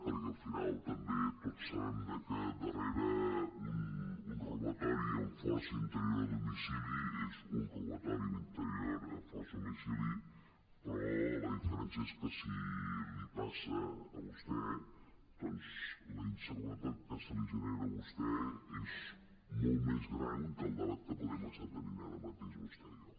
perquè al final també tots sabem que dar·rere un robatori amb força a interior de domicili és un robatori amb força a interior de domicili però la diferència és que si li passa a vostè doncs la inseguretat que se li genera a vostè és molt més gran que el debat que podem estar tenint ara mateix vostè i jo